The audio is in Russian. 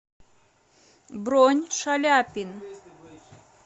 бронь шаляпин